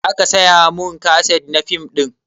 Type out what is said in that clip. Za ka saya mun kaset na fim ɗin